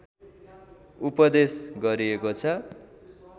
उपदेश गरिएको छ